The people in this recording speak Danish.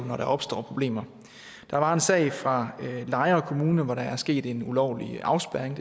når der opstår problemer der var en sag fra lejre kommune hvor der er sket en ulovlig afspærring